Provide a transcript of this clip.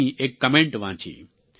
જીની એક કમેન્ટ વાંચી